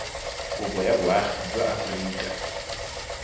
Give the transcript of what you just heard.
kopo ya boagi jwa aforika